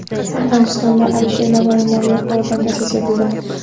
Afg‘onistonda Alisher Navoiy nomli orden ta’sis etildi.